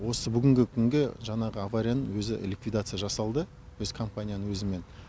осы бүгінгі күнге жаңағы аварияның өзі ликвидация жасалды осы компанияның өзімен